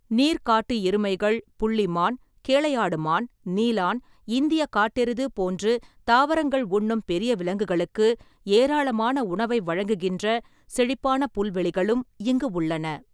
நீர் காட்டு எருமைகள், புள்ளி மான், கேளையாடு மான், நீலான், இந்தியக் காட்டெருது போன்று தாவரங்கள் உண்ணும் பெரிய விலங்குகளுக்கு ஏராளமான உணவை வழங்குகின்ற செழிப்பான புல்வெளிகளும் இங்கு உள்ளன.